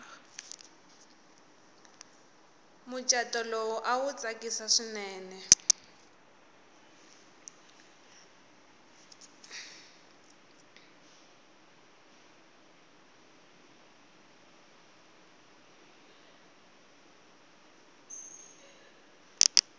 muchato lowu awa awu tsakisi swinene